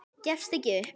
Gefstu ekki upp.